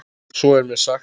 Svo er mér sagt.